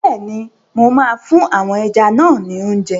Bẹ́ẹ̀ni, mo máa fún àwọn ẹja náà ni óúnjẹ.